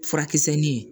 Furakisɛ ni